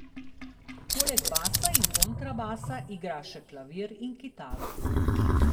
Poleg basa in kontrabasa igra še klavir in kitaro.